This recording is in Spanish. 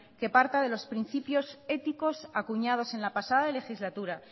que parta de los principios éticos acuñados en la pasada legislatura